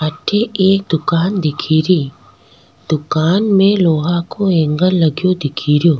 अठ एक दुकान दिखेरी दुकान में लोहा को एंगल लगो दिखेरो।